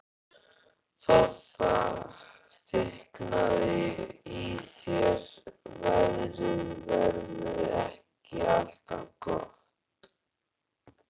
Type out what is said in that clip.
Þá þykknaði í þér: Veðrið verður ekki alltaf gott.